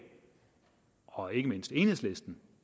og ikke mindst enhedslisten